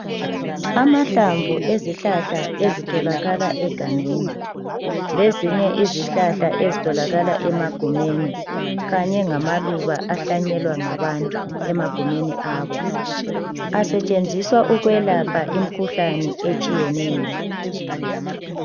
Amahlamvu ezihlahla ezitholakala egangeni lezinye izihlahla ezitholakala emagumeni kanye ngamaluba ahlanyelwa ngabantu emagumeni abo asetshenziswa ukwelapha imikhuhlane etshiyeneyo.